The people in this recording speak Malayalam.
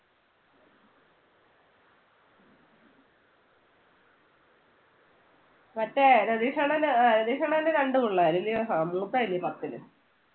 മറ്റേ രതീഷണ്ണന് അഹ് രതീഷ് അണ്ണന് രണ്ട് പിള്ളേര് അല്ലയോ? അഹ് മൂത്തതല്ലേ പത്തില്.